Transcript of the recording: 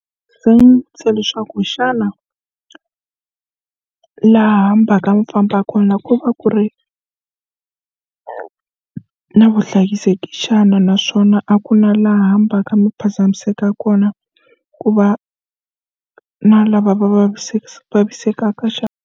Se leswaku xana laha fambaka mi famba kona ku va ku ri na vuhlayiseki xana naswona a ku na laha fambaka mi phazamiseka kona ku va na lava va vaviseka vavisekaka xana.